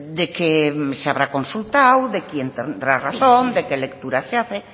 de qué se habrá consultado de quién tendrá razón de qué lectura se hace